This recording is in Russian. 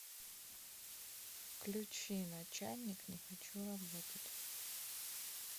включи начальник не хочу работать